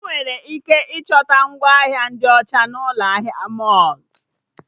Enwere ike ịchọta ngwa ahịa ndị ọcha na'Ụlọ ahịa mọlụ